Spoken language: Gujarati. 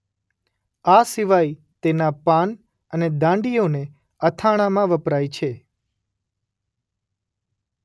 આ સિવાય તેના પાન અને દાંડીઓને અથાણાંમાં વપરાય છે.